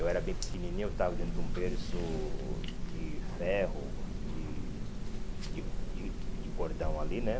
Eu era bem pequenininho, eu estava dentro de um berço de ferro, de de de de cordão ali né.